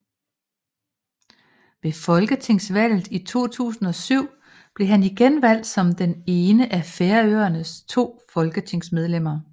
Ved folketingsvalget i 2007 blev han igen valgt som det ene af Færøernes to folketingsmedlemmer